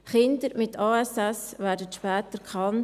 – Kinder mit ASS werden zu spät erkannt.